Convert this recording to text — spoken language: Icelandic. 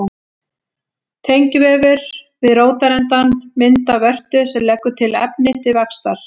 Tengivefur við rótarendann myndar vörtu sem leggur til efni til vaxtar.